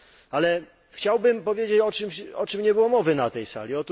Ale chciałbym powiedzieć o czymś, o czym nie było mowy na tej sali.